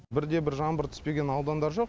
бірде бір жаңбыр түспеген аудандар жоқ